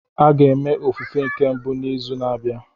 A ga-eme ofufe nke mbụ n'izu na-abịa